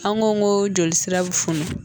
An ko ko joli sira bɛ funu.